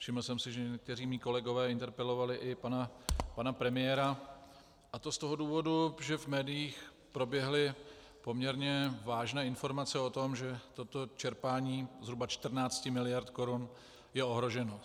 Všiml jsem si, že někteří mí kolegové interpelovali i pana premiéra, a to z toho důvodu, že v médiích proběhly poměrně vážné informace o tom, že toto čerpání zhruba 14 mld. korun je ohroženo.